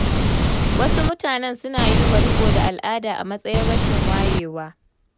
Wasu mutanen suna yi wa riƙo da al'ada a matsayin rashin wayewa.